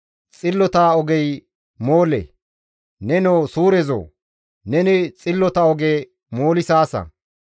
Xillota ogey moole. Nenoo Suurezoo, neni xillota oge moolisaasa.